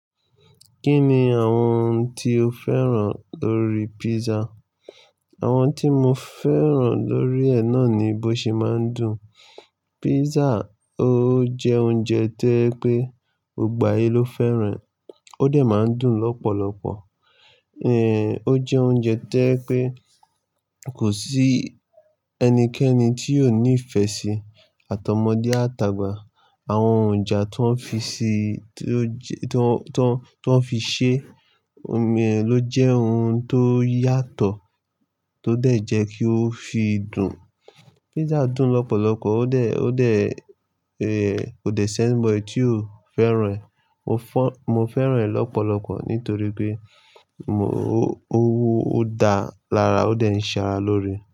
Kí ni àwọn ohun tí o fẹ́ràn lórí pizza? Àwọn tí mo fẹ́ràn lórí ẹ náà ni bó ṣe máa ń dùn. Pizza ó jẹ́ oúnjẹ tí ẹ pé gbogbo ayé ló fẹ́ràn, ó dà máa ń dùn lọ́pọ̀lọpọ̀. Ehn ó jẹ́ oúnjẹ tí ẹ pé kò sí ẹnikẹ́ni tí ò ní ìfẹ́ sí atọmọdé àtàgba. Àwọn òǹjá tó fi ṣe, tó fi ṣe ómi ẹ ló jẹ́ ohun tó yàtọ̀ tó dà jẹ kí ó fi dùn. Pizza dùn lọ́pọ̀lọpọ̀ ó de, ó de, eh ķò de ṣẹ́nbọyì tí o fẹ́ràn ẹ. Mo fẹ́ràn ẹ lọ́pọ̀lọpọ̀ nítorí pé mo, ó dáa lára ó dà ní ṣàrà lórí.